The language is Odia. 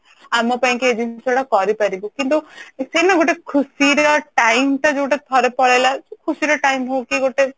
ଆମ ପାଇଁ କି ଏଇ ଜିନିଷ ଟା କରିପାରିବୁ କିନ୍ତୁ ସେ ନା ଗୋଟେ ଖୁସିରେ time ଟା ଯୋଉଟା ଥରେ ପଳେଇଲା ଖୁସି ର time ହଉ କି ଗୋଟେ